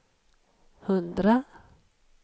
hundra